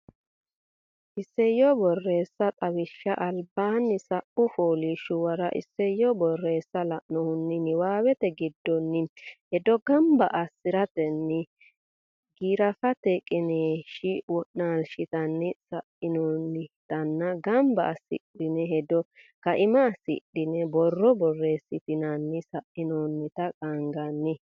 Isayyo Borreessa Xawishsha albaanni sa u fooliishshuwara isayyo borreessa lainohunni niwaawete giddonni hedo gamba assi ratenni giraafete qiniishshi wonshitinanni sa inoonnitanna gamba assidhini hedo kaima assidhine borro borreessitinanni sa inoonnita qaagginanni.